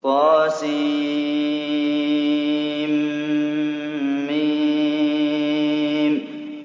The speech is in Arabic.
طسم